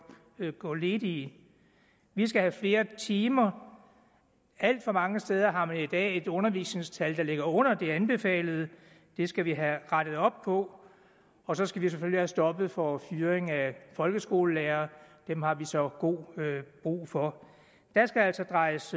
gå ledige vi skal have flere timer alt for mange steder har man i dag et undervisningstimetal der ligger under det anbefalede det skal vi have rettet op på og så skal vi selvfølgelig have stoppet for fyringer af folkeskolelærere dem har vi så god brug for der skal altså drejes